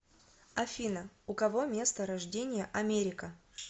афина у кого место рождения америка